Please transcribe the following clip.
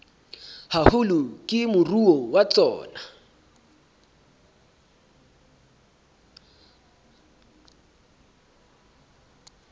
haholo ke moruo wa tsona